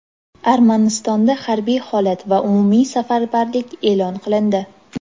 Armanistonda harbiy holat va umumiy safarbarlik e’lon qilindi.